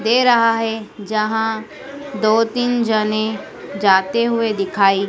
दे रहा है जहां दो तीन जाने जाते हुए दिखाई--